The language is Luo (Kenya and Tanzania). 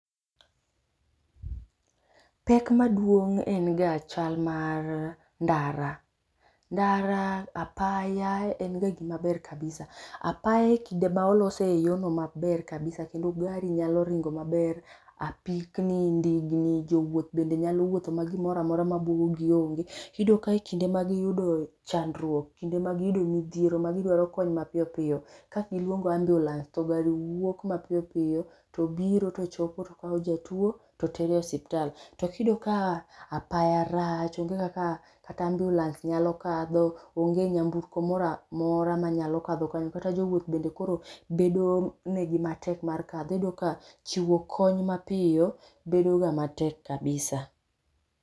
Pek maduong' en ga chal mar ndara, ndara apaya en ga gima ber kabisa. Apaya ekinde ma olose maber kabisa kendo gari nyalo ringo maber, apikni , ndigni, jowuoth bende nyalo wuotho ma gomoro amora ma buogogi onge. Iyudo ka kinde ma giyudo chandruok, magiyudo midhiero magidwaro kony mapiyo piyo, ka giluongo ambiulens to gari wuok mapiyo piyo. To biro to chopo to kawo jatuo, to tero e osiptal. To ka iyudo ka apaya rach, onge kata kaka ambiulens nyalo kadho, onge nyamburko moro amora manyalo kadho kanyo, kata jowuoth bende bedonigi matek mar kadho. Iyudo ka chiwo kony mapiyo bedoga matek kabisa